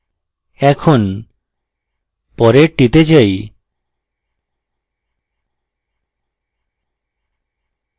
এখন পরের টিতে যাই